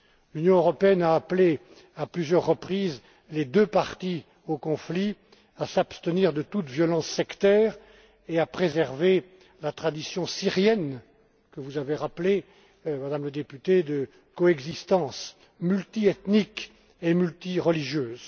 L'Union européenne a appelé, à plusieurs reprises, les deux parties au conflit à s'abstenir de toute violence sectaire et à préserver la tradition syrienne, que vous avez rappelée, Madame la députée, de coexistence multiethnique et multireligieuse.